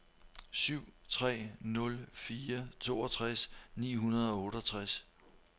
syv tre nul fire toogtres ni hundrede og otteogtres